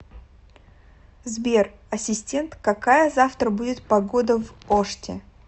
сбер ассистент какая завтра будет погода в оште